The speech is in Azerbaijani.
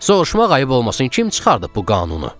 soruşmaq ayıb olmasın kim çıxardıb bu qanunu?